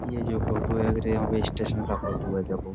यह जो फोटो है रेलवे स्टेशन का फोटो है देखो।